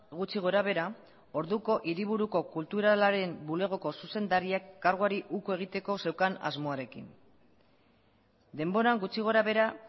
gutxi gorabehera orduko hiriburuko kulturalaren bulegoko zuzendariek karguari uko egiteko zeukan asmoarekin denboran gutxi gorabehera